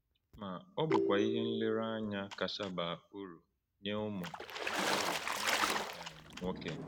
Ma, ọ bụkwa ihe nlereanya kacha baa uru nye ụmụ uru nye ụmụ um nwoke.